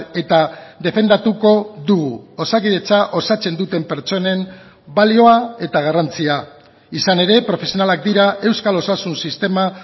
eta defendatuko dugu osakidetza osatzen duten pertsonen balioa eta garrantzia izan ere profesionalak dira euskal osasun sistema